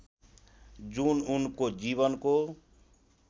जुन उनको जीवनको